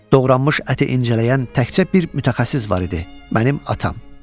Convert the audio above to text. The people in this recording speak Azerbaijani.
Doğranmış əti incələyən təkcə bir mütəxəssis var idi, mənim atam.